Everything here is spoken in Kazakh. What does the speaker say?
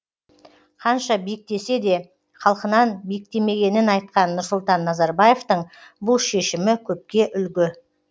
қанша биіктесе де халқынан биіктемегенін айтқан нұрсұлтан назарбаевтың бұл шешімі көпке үлгі